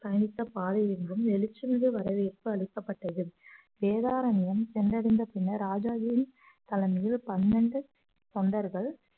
தனித்த பாதை எங்கும் வெளிச்சமிகு வரவேற்பு அளிக்கப்பட்டது வேதாரண்யம் சென்றடைந்த பின்னர் ராஜாஜியின் தலைமையில் பன்னெண்டு தொண்டர்கள்